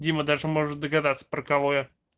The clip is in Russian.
дима даже может догадаться про кого я